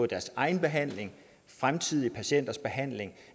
deres egen behandling fremtidige patienters behandling